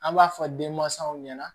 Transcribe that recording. An b'a fɔ denmansaw ɲɛna